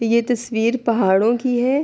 یہ تشویر پہااڈو کی ہے۔